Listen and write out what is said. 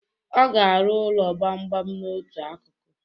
Ọ ga arụ ụlọ gbamgbam n'otu akụkụ.